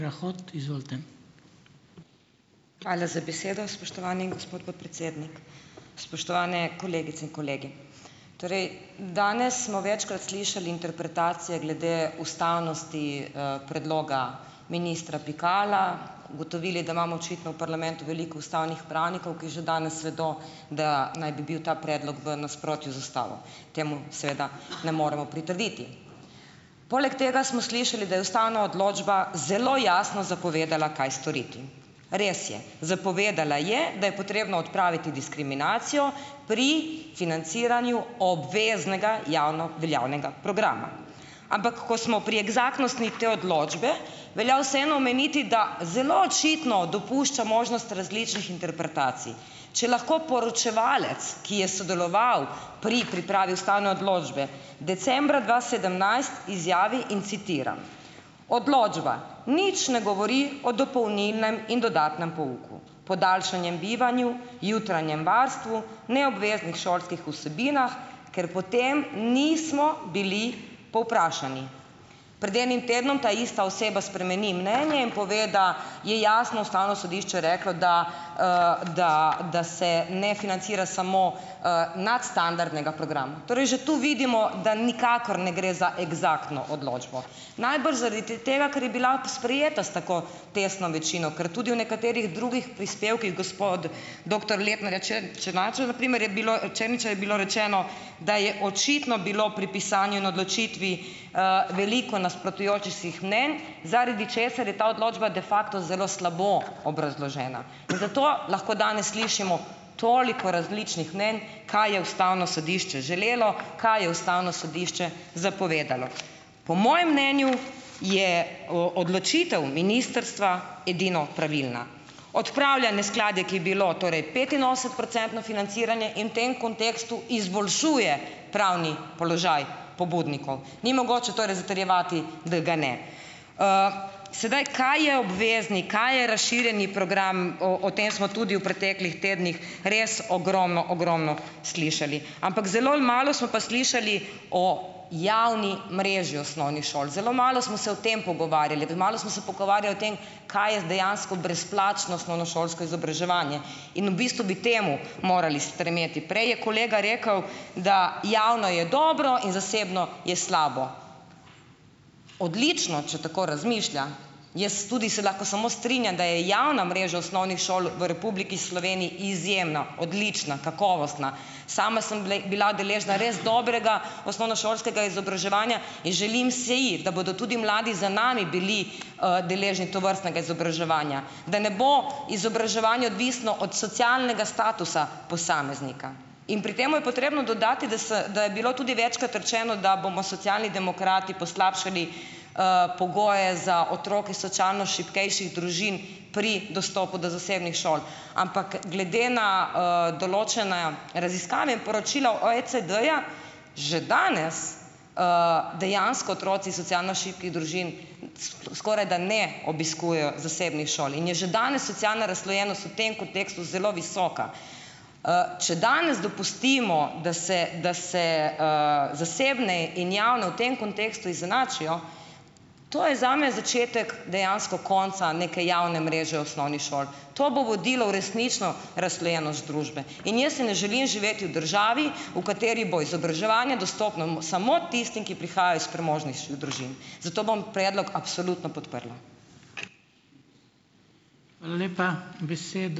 Hvala za besedo, spoštovani gospod podpredsednik. Spoštovane kolegice in kolegi! Torej, danes smo večkrat slišali interpretacije glede ustavnosti, predloga ministra Pikala. Ugotovili, da imamo očitno v parlamentu veliko ustavnih pravnikov, ki že danes vedo, da naj bi bil ta predlog v nasprotju z ustavo. Temu seveda ne moremo pritrditi. Poleg tega smo slišali, da je ustavna odločba zelo jasno zapovedala, kaj storiti. Res je, zapovedala je, da je potrebno odpraviti diskriminacijo pri financiranju obveznega javno veljavnega programa. Ampak, ko smo pri eksaktnosti te odločbe, velja vseeno omeniti, da zelo očitno dopušča možnost različnih interpretacij. Če lahko poročevalec, ki je sodeloval pri pripravi ustavne odločbe, decembra dva sedemnajst, izjavi in citiram: "Odločba nič ne govori o dopolnilnem in dodatnem pouku, podaljšanem bivanju, jutranjem varstvu, neobveznih šolskih vsebinah, ker po tem nismo bili povprašani." Pred enim tednom ta ista oseba spremeni mnenje in pove, da je jasno ustavno sodišče reklo, da, da da se ne financira samo, nadstandardnega programa. Torej že tu vidimo, da nikakor ne gre za eksaktno odločbo. Najbrž zaradi tega, ker je bila sprejeta s tako tesno večino, ker tudi v nekaterih drugih prispevkih gospod doktor Lepnerja Černača na primer je bilo, Černiča, je bilo rečeno, da je očitno bilo pri pisanju in odločitvi, veliko nasprotujočih si mnenj, zaradi česar je ta odločba de facto zelo slabo obrazložena, in zato lahko danes slišimo toliko različnih mnenj, kaj je ustavno sodišče želelo, kaj je ustavno sodišče zapovedalo. Po mojem mnenju je odločitev ministrstva edino pravilna. Odpravlja neskladje, ki je bilo, torej petinosemdesetprocentno financiranje in tem kontekstu izboljšuje pravni položaj pobudnikov. Ni mogoče torej zatrjevati, da ga ne. Sedaj, kaj je obvezni, kaj je razširjeni program, o o tem smo tudi v preteklih tednih res ogromno, ogromno slišali, ampak zelo malo smo pa slišali o javni mreži osnovnih šol. Zelo malo smo se o tem pogovarjali, premalo smo se pogovarjali o tem, kaj je dejansko brezplačno osnovnošolsko izobraževanje in v bistvu bi temu morali stremeti. Prej je kolega rekel, da javno je dobro in zasebno je slabo. Odlično, če tako razmišlja, jaz tudi se lahko samo strinjam, da je javna mreža osnovnih šol v Republiki Sloveniji izjemna, odlična, kakovostna. Sama sem bile bila deležna res dobrega osnovnošolskega izobraževanja in želim si, da bodo tudi mladi za nami bili, deležni tovrstnega izobraževanja. Da ne bo izobraževanje odvisno od socialnega statusa posameznika in pri tem je potrebno dodati, da se, da je bilo tudi večkrat rečeno, da bomo Socialni demokrati poslabšali, pogoje za otroke socialno šibkejših družin pri dostopu do zasebnih šol, ampak glede na, določene raziskave in poročila OECD-ja, že danes dejansko otroci socialno šibkih družin skorajda ne obiskujejo zasebnih šoli in je že danes socialna razslojenost v tem kontekstu zelo visoka. Če danes dopustimo, da se da se, zasebne in javne v tem kontekstu izenačijo, to je zame začetek dejansko konca neke javne mreže osnovnih šol. To bo vodilo v resnično razslojenost družbe in jaz si ne želim živeti v državi, v kateri bo izobraževanje dostopno samo tistim, ki prihajajo iz premožnejših družin, zato bom predlog absolutno podprla.